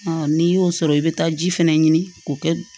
n'i y'o sɔrɔ i bɛ taa ji fɛnɛ ɲini k'o kɛ